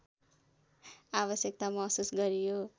आवश्यकता महसुस गरियो